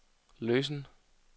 løsen